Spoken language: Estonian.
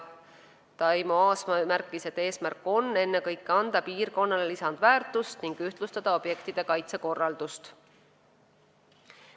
Taimo Aasma märkis, et eesmärk on ennekõike piirkonnale lisandväärtust anda ning objektide kaitse korraldust ühtlustada.